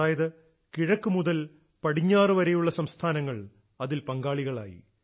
അതായത് കിഴക്കു മുതൽ പടിഞ്ഞാറുവരെയുള്ള സംസ്ഥാനങ്ങൾ അതിൽ പങ്കാളികളായി